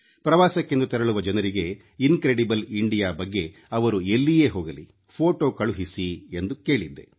ಪ್ರವಾಸಕ್ಕೆಂದು ತೆರಳುವ ಜನರಿಗೆ incredible India ಬಗ್ಗೆ ಅವರು ಎಲ್ಲಿಯೇ ಹೋಗಲಿ ಫೋಟೊ ಕಳುಹಿಸಿ ಎಂದು ಕೇಳಿದ್ದೆ